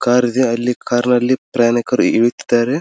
Car ಇದೆ ಅಲ್ಲಿ car ನಲ್ಲಿ ಪ್ರಯಾಣಿಕರು ಇಳಿಯುತ್ತಿದ್ದಾರೆ.